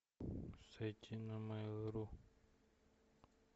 зайти на майл ру